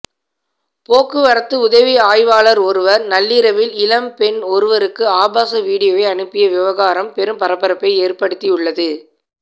போக்குவரத்து உதவி ஆய்வாளர் ஒருவர் நள்ளிரவில் இளம்பெண் ஒருவருக்கு ஆபாச வீடியோவை அனுப்பிய விவகாரம் பெரும் பரபரப்பை ஏற்படுத்தி உள்ளது